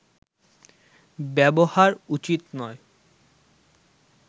ব্যবহার উচিত নয়